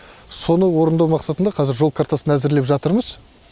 соны орындау мақсатында жол картасын әзірлеп жатырмыз